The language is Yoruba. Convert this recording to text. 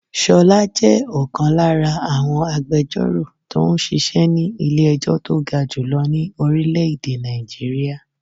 Ṣolá jẹ́ ọ̀kan lára àwọn agbẹjoro tó ń ṣíṣe ni ilé ẹjọ́ tó ga jù lọ ní orílè èdè Nigeria.